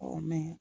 mɛ